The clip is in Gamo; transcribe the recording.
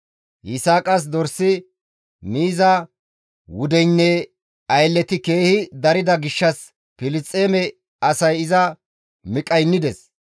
Yisaaqas dorsi, miiza wudeynne aylleti keehi darida gishshas Filisxeeme asay iza miqqaynides.